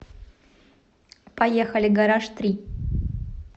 поехали гараж три